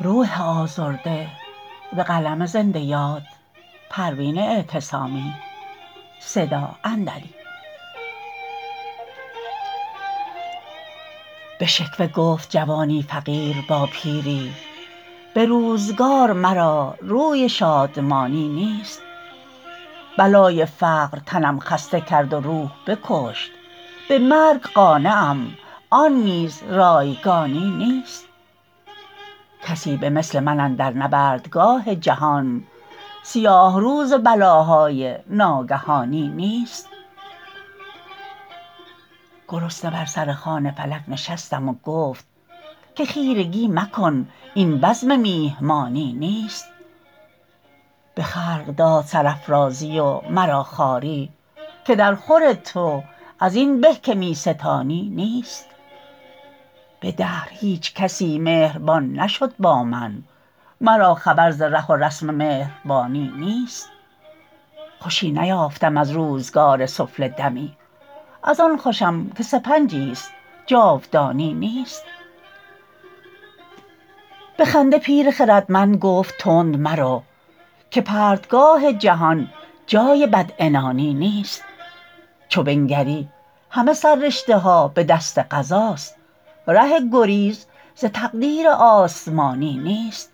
به شکوه گفت جوانی فقیر با پیری به روزگار مرا روی شادمانی نیست بلای فقر تنم خسته کرد و روح بکشت به مرگ قانعم آن نیز رایگانی نیست کسی به مثل من اندر نبردگاه جهان سیاه روز بلاهای ناگهانی نیست گرسنه بر سر خوان فلک نشستم و گفت که خیرگی مکن این بزم میهمانی نیست به خلق داد سرافرازی و مرا خواری که در خور تو ازین به که میستانی نیست به دهر هیچکس مهربان نشد با من مرا خبر ز ره و رسم مهربانی نیست خوش نیافتم از روزگار سفله دمی از آن خوشم که سپنجی است جاودانی نیست به خنده پیر خردمند گفت تند مرو که پرتگاه جهان جای بد عنانی نیست چو بنگری همه سر رشته ها بدست قضاست ره گریز ز تقدیر آسمانی نیست